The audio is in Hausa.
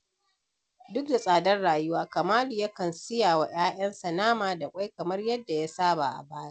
Duk da tsadar rayuwa, Kamalu yakan siya wa 'ya'yansa nama da ƙwai kamar yadda ya saba a baya.